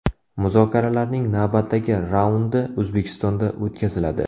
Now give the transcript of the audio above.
Muzokaralarning navbatdagi raundi O‘zbekistonda o‘tkaziladi.